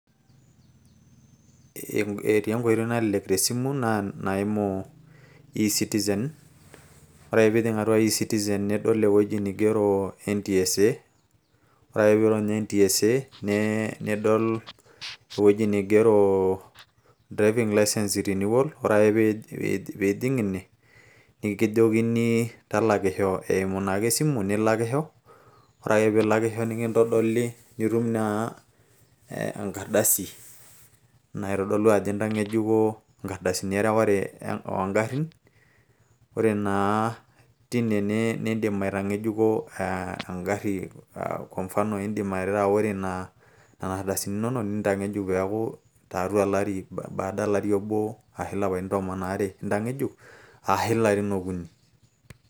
etii enkoitoi nalelek te simu naa enaimu ecitizen, ore pee ijing' atu ecitizen nidol ewueji nigero ntsa. ore ake pee iirony ntsa, nidol ewueji nigero driving licence renewal ,ore ake ee ijing ine nikijokini talakisho eimu naa ake esimu. nilakishso, ore ake pee ilakisho nitum naa enkardasi, naitodolu ajo intang'ejuko, inkardasini oo garin, ore naa teine nidim aitagejuko e gari ,ore nena aordasini inonok nintang'ejuk baada olari aashu ilarin okuni.